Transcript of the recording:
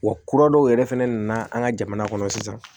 Wa kura dɔw yɛrɛ fɛnɛ nana an ka jamana kɔnɔ sisan